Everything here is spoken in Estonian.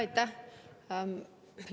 Aitäh!